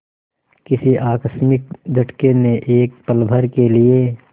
किसी आकस्मिक झटके ने एक पलभर के लिए